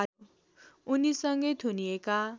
उनीसँगै थुनिएका